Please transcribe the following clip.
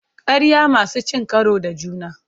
Ƙarya masu cin karo da juna.